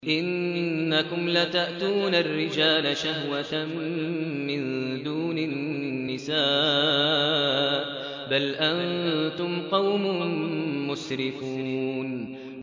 إِنَّكُمْ لَتَأْتُونَ الرِّجَالَ شَهْوَةً مِّن دُونِ النِّسَاءِ ۚ بَلْ أَنتُمْ قَوْمٌ مُّسْرِفُونَ